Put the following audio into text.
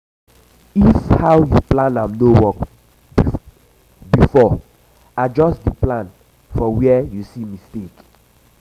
if how yu plan am no work bifor adjust di plan for wia yu see mistake